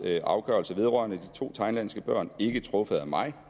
afgørelse vedrørende de to thailandske børn ikke truffet af mig